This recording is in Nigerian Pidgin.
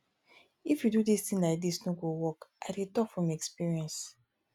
if you do dis thing like dise no go work i dey talk from experience.